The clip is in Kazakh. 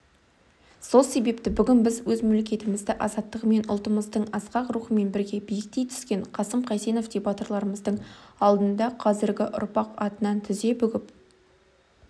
сол себепті бүгін біз мемлекетіміздің азаттығымен ұлтымыздың асқақ рухымен бірге биіктей түскен қасым қайсеновтей батырларымыздың алдында қазіргі ұрпақ атынан тізе бүгіп